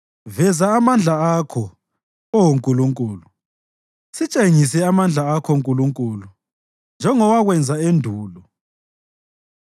Veza amandla akho, Oh Nkulunkulu, sitshengise amandla akho Nkulunkulu, njengowakwenza endulo.